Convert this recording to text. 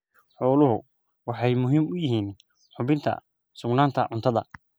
Xooluhu waxay muhiim u yihiin hubinta sugnaanta cuntada.